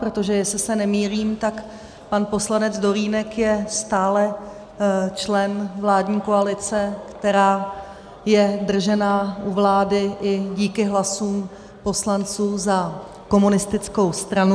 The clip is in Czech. Protože jestli se nemýlím, tak pan poslanec Dolínek je stále člen vládní koalice, která je držena u vlády i díky hlasům poslanců za komunistickou stranu.